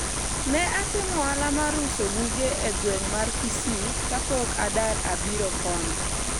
ne atimo ohala mar uso buge e gweng' mar Kisii kapok adar abiro koni